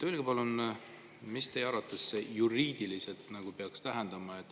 Öelge palun, mida see teie arvates juriidiliselt peaks tähendama.